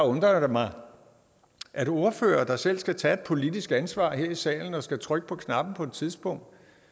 undrer mig at ordførere der selv skal tage et politisk ansvar her i salen og skal trykke på knappen på et tidspunkt